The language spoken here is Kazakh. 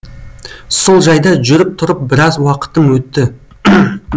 сол жайда жүріп тұрып біраз уақытым өтті